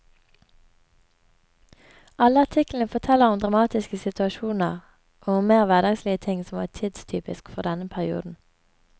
Alle artiklene forteller om dramatiskesituasjoner og om mer hverdagslige ting som var tidstypisk fordenne perioden.